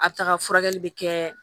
A taga furakɛli bɛ kɛ